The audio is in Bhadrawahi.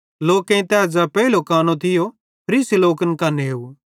लोकेईं तै ज़ै पेइलो कानो थियो फरीसी लोकन कां नेव